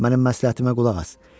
Mənim məsləhətimə qulaq as.